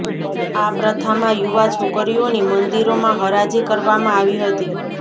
આ પ્રથામાં યુવા છોકરીઓની મંદિરોમાં હરાજી કરવામાં આવી હતી